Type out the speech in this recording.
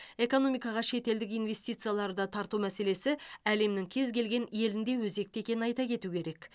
экономикаға шетелдік инвестицияларды тарту мәселесі әлемнің кез келген елінде өзекті екенін айта кету керек